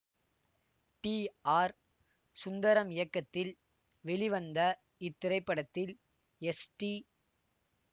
D R Sundaram இயக்கத்தில் வெளிவந்த இத்திரைப்படத்தில் எஸ் டி